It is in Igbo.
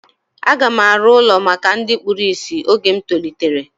A ga m arụ ụlọ maka ndị kpụrụ isi oge m tolitere